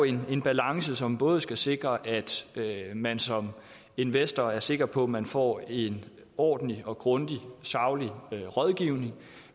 en balance som både skal sikre at man som investor er sikker på at man får en ordentlig grundig og saglig rådgivning